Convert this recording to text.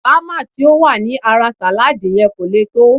Bama ti ó wà ní ara salad yen ko leè to